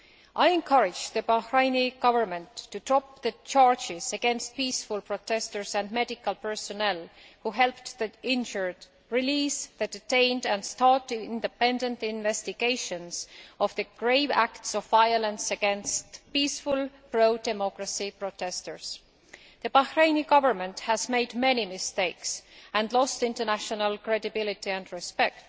I encourage the Bahraini Government to drop the charges against peaceful protesters and medical personnel who helped the injured, release the detained and start independent investigations into the grave acts of violence against peaceful pro democracy protesters. The Bahraini Government has made many mistakes and has lost international credibility and respect.